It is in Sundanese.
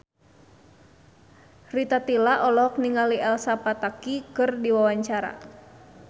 Rita Tila olohok ningali Elsa Pataky keur diwawancara